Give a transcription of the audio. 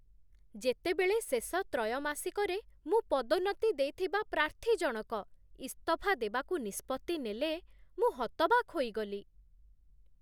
ଯେତେବେଳେ ଶେଷ ତ୍ରୟମାସିକରେ ମୁଁ ପଦୋନ୍ନତି ଦେଇଥିବା ପ୍ରାର୍ଥୀ ଜଣକ ଇସ୍ତଫା ଦେବାକୁ ନିଷ୍ପତ୍ତି ନେଲେ, ମୁଁ ହତବାକ୍ ହୋଇଗଲି।